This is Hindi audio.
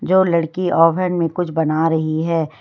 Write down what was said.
दो लड़की ओवन में कुछ बना रही है।